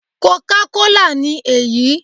Coca cola' ni èyí